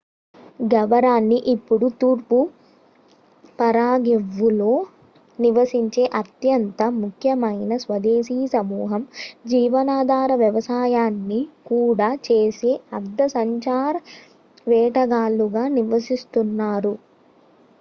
Guarani ఇప్పుడు తూర్పు పరాగ్వేలో నివసించే అత్యంత ముఖ్యమైన స్వదేశీ సమూహం జీవనాధార వ్యవసాయాన్ని కూడా చేసే అర్థ సంచార వేటగాళ్ళుగా నివసిస్తున్నారు